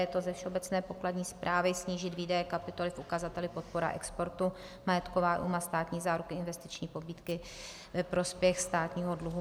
Je to ze Všeobecné pokladní správy - snížit výdaje kapitoly v ukazateli podpora exportu, majetková újma, státní záruky, investiční pobídky ve prospěch státního dluhu.